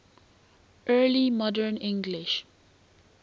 early modern english